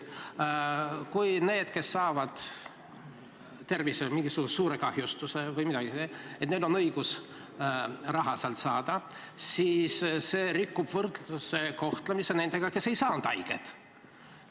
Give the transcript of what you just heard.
Kui need, kes saavad tervisekahjustuse või mingisuguse muu suure kahjustuse või midagi sellist, ja neil tekib õigus sealt raha saada, siis see rikub võrdse kohtlemise põhimõtet nende suhtes, kes ei saanud haiget.